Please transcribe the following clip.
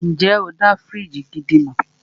Ǹjẹ́ o dá fíríjì gidi mọ̀?